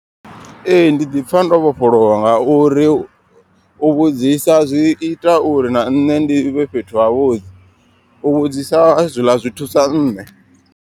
Ee ndi ḓipfha ndo vhofholowa nga uri u vhudzisa zwi ita uri na nṋe ndi ivhe fhethu ha vhuḓi. U vhudzisa zwiḽa zwi thusa nṋe.